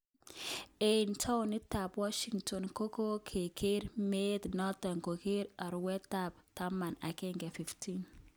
Eng townit tab Washington kogokoker meet noton kongeten Arawet tab taman agenge 15